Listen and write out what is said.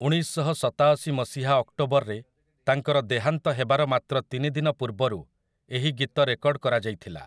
ଉଣେଇଶଶହସତାଅଶି ମସିହା ଅକ୍ଟୋବରରେ ତାଙ୍କର ଦେହାନ୍ତ ହେବାର ମାତ୍ର ତିନି ଦିନ ପୂର୍ବରୁ ଏହି ଗୀତ ରେକର୍ଡ କରାଯାଇଥିଲା ।